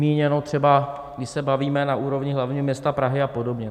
Míněno třeba když se bavíme na úrovni hlavního města Prahy a podobně.